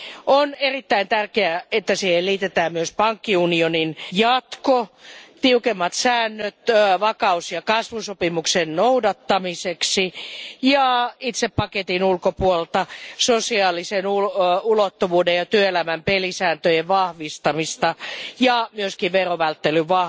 On erittäin tärkeää, että siihen liitetään myös pankkiunionin jatko, tiukemmat säännöt vakaus ja kasvusopimuksen noudattamiseksi ja itse paketin ulkopuolelta sosiaalisen ulottuvuuden ja työelämän pelisääntöjen vahvistamista ja myös verovälttelyä,